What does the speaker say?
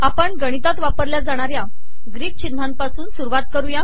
आपण गिणतात वापरलया जाणाऱया गीक िचनहापासून सुरवात कर